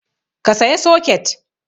Ka saya soket!